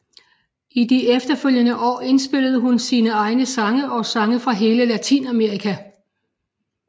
I de efterfølgende år inspillede hun sine egne sange og sange fra hele Latinamerika